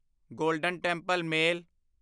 golden Temple male